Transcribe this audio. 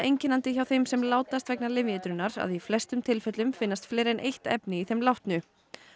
einkennandi hjá þeim sem látast vegna lyfjaeitrunar að í flestum tilfellum finnast fleiri en eitt efni í þeim látnu